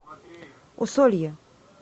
усолье